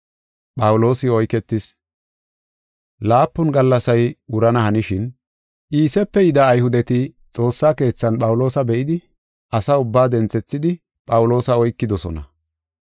Laapun gallasay wurana hanishin, Iisepe yida Ayhudeti xoossa keethan Phawuloosa be7idi, asa ubbaa denthethidi Phawuloosa oykidosona.